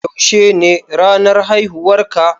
Yaushe ne ranar haihuwar ka?